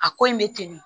A ko in bɛ teli